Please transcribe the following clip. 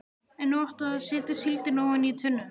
En nú áttu að setja síldina ofan í tunnuna.